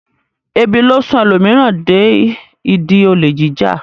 Ebi ló sún ẹlòmíràn dé ìdí olè jíjà.